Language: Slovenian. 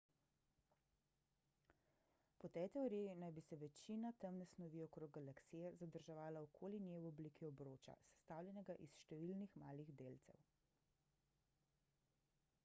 po tej teoriji naj bi se večina temne snovi okrog galaksije zadrževala okoli nje v obliki obroča sestavljenega iz številnih malih delcev